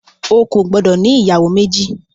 O kò gbọdọ̀ ní ìyàwó méjì.